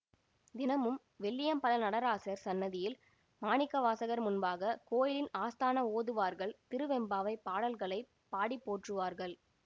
தினமும் வெள்ளியம்பல நடராசர் சந்நதியில் மாணிக்கவாசகர் முன்பாக கோயிலின் ஆஸ்தான ஓதுவார்கள் திருவெம்பாவைப் பாடல்களை பாடிப்போற்றுவார்கள்